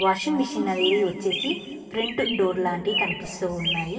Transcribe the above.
Washing machine అనేది వచ్చేసి front door లాంటిది కనిపిస్తూ ఉన్నాయి.